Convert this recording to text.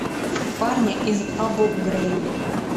парни из абу грейб